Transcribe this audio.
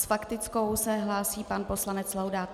S faktickou se hlásí pan poslanec Laudát.